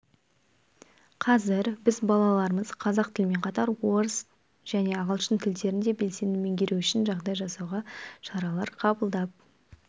қазір біз балаларымыз қазақ тілімен қатар орыс және ағылшын тілдерін де белсенді меңгеру үшін жағдай жасауға шаралар қабылдап